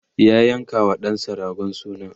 ya yanka wa ɗansa ragon suna